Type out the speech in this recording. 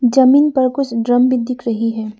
जमीन पर कुछ ड्रम भी दिख रही है।